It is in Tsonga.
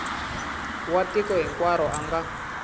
wa tiko hinkwaro a nga